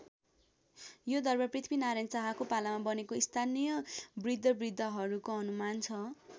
यो दरबार पृथ्वीनारायण शाहको पालामा बनेको स्थानीय बृद्धबृद्धाहरूको अनुमान छ।